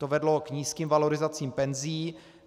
To vedlo k nízkým valorizacím penzí.